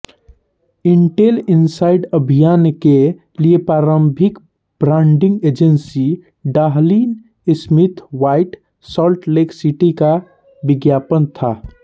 Intel inside अभियान के लिए प्रारंभिक branding agency Dahlin Smith White Salt Lake City का विज्ञापन था